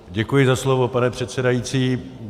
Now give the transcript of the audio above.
Děkuji za slovo, pane předsedající.